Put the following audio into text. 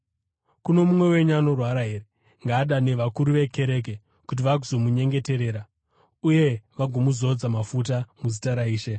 Kuno mumwe wenyu anorwara here? Ngaadane vakuru vekereke kuti vazomunyengeterera uye vagomuzodza mafuta muzita raIshe.